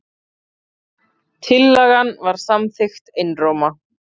Tillagan var samþykkt einróma.